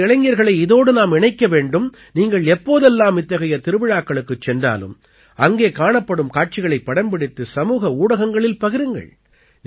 நமது இளைஞர்களை இதோடு நாம் இணைக்க வேண்டும் நீங்கள் எப்போதெல்லாம் இத்தகைய திருவிழக்களுக்குச் சென்றாலும் அங்கே காணப்படும் காட்சிகளைப் படம்பிடித்து சமூக ஊடகங்களில் பகிருங்கள்